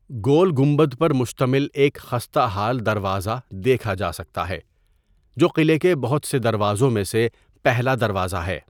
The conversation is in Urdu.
گول گمبد پر مشتمل ایک خستہ حال دروازہ دیکھا جا سکتا ہے، جو قلعہ کے بہت سے دروازوں میں سے پہلا دروازہ ہے۔